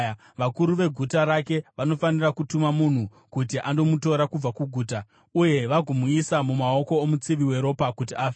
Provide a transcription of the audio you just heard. vakuru veguta rake vanofanira kutuma munhu kuti andomutora kubva kuguta, uye vagomuisa mumaoko omutsivi weropa kuti afe.